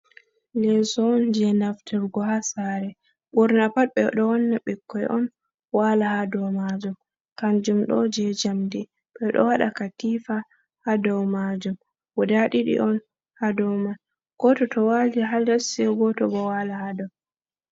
Leso on je naftirgo ha sare ɓurna pat ɓedo wanna ɓikkoi on wala ha dow majum, kanjum ɗo je jamdi ɓeɗo waɗa katifa ha dow majum, guda didi on ha dow man, goto to wali ha les sei goto bo wala ha dow.